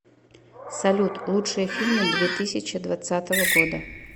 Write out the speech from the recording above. салют лучшие фильмы две тысяча двадцатого года